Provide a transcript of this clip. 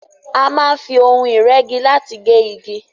A máa ń fi ohun ìrẹ́gi láti gé ìgi